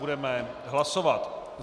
Budeme hlasovat.